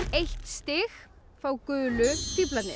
eitt stig fá gulu